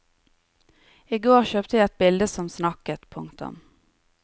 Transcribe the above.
Igår kjøpte jeg et bilde som snakket. punktum